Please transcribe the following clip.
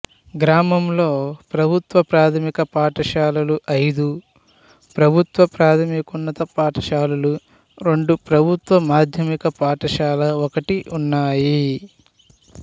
గ్రామంలో ప్రభుత్వ ప్రాథమిక పాఠశాలలు ఐదు ప్రభుత్వ ప్రాథమికోన్నత పాఠశాలలు రెండు ప్రభుత్వ మాధ్యమిక పాఠశాల ఒకటి ఉన్నాయి